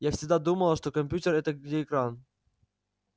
я всегда думала что компьютер это где экран